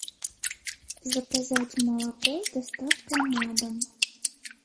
заказать молоко с доставкой на дом